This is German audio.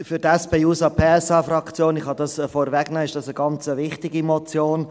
Für die SP-JUSO-PSA-Fraktion – dies kann ich vorwegnehmen – ist dies eine ganz wichtige Motion.